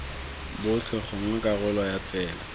botlhe gongwe karolo ya tsela